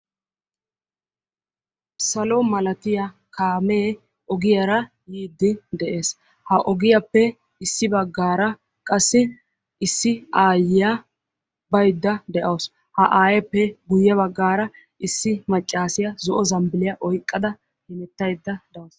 Salo malattiya kaame ogiyara biidde de'eea. Ha kaamiya matan issi macassiya zo'o zambbilliya oyqqdada dawussu.